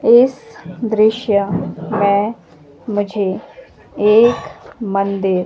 इस दृश्य में मुझे एक मंदिर--